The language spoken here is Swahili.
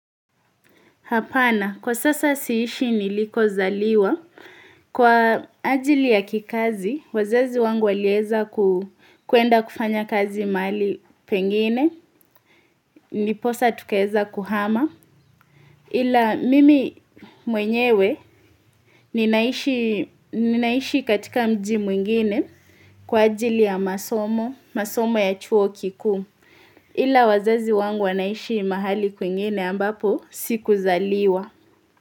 Hapana, kwa sasa siishi nilikozaliwa. Kwa ajili ya kikazi, wazazi wangu walieza kwenda kufanya kazi mahali pengine ndiposa tukaweza kuhama. Ila mimi mwenyewe ninaishi katika mji mwingine kwa ajili ya masomo, masomo ya chuo kikuu. Ila wazazi wangu wanaishi mahali kwingine ambapo sikuzaliwa.